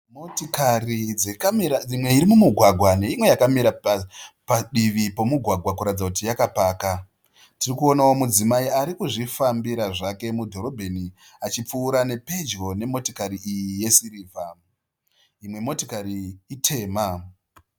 Motikari dzekamira imwe iri mugwagwa neimwe yakamira padivi pomugwagwa kuratidza kuti yakapaka. Tirikuonawo mudzimai ari kuzvifambira zvake mudhorobheni achipfuura pedyo nemotikari iyi yesirivha. Imwe motikari itema.